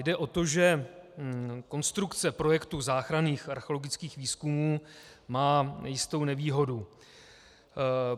Jde o to, že konstrukce projektu záchranných archeologických výzkumů má jistou nevýhodu.